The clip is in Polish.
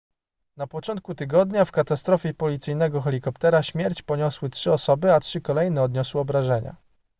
na początku tygodnia w katastrofie policyjnego helikoptera śmierć poniosły trzy osoby a trzy kolejne odniosły obrażenia